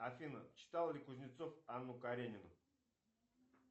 афина читал ли кузнецов анну каренину